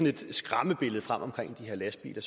et skræmmebillede frem om de her lastbiler